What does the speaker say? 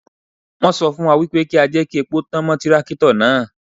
Wọ́n sọ fún wa wípé kí á jẹ́ kí epo tán mọ́ tírákítọ̀ náà.